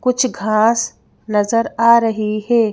कुछ घास नजर आ रही है।